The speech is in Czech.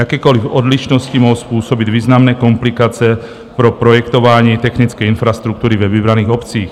Jakékoliv odlišnosti mohou způsobit významné komplikace pro projektování technické infrastruktury ve vybraných obcích.